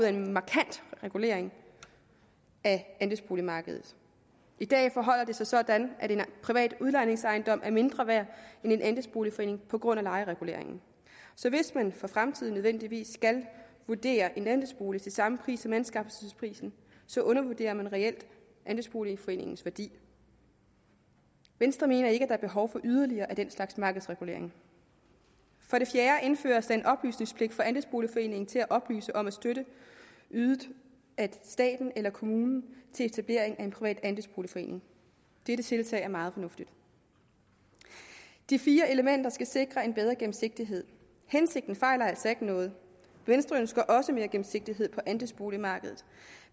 en markant regulering af andelsboligmarkedet i dag forholder det sig sådan at en privat udlejningsejendom er mindre værd end en andelsboligforening på grund af lejereguleringen så hvis man for fremtiden nødvendigvis skal vurdere en andelsbolig til samme pris som anskaffelsesprisen undervurderer man reelt andelsboligforeningens værdi venstre mener ikke er behov for yderligere af den slags markedsregulering for det fjerde indføres der en oplysningspligt for andelsboligforeningen til at oplyse om støtte ydet af staten eller kommunen til etablering af en privat andelsboligforening dette tiltag er meget fornuftigt de fire elementer skal sikre en bedre gennemsigtighed hensigten fejler altså ikke noget venstre ønsker også mere gennemsigtighed på andelsboligmarkedet